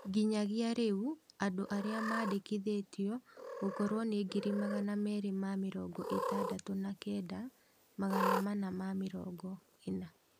Nginyagia rĩu andu arĩa mandĩkithĩtwe gukorwo nĩ ngiri magana meri ma mĩrongo ĩtandatu na kenda, magana mana ma mĩrongo ina